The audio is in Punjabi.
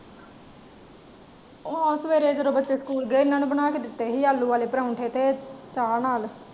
ਆਹ ਸਵੇਰੇ ਜਦੋਂ ਬੱਚੇ ਸਕੂਲ ਗਏ ਹਨ ਨੂੰ ਬਣਾ ਕੇ ਦਿੱਤੇ ਸੀ ਆਲੂ ਵਾਲੇ ਪ੍ਰਾਉਂਠੇ ਤੇ ਚਾਅ ਨਾਲ।